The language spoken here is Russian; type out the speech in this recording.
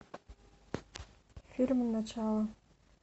фильм начало